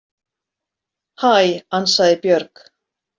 Hæ, ansaði Björg.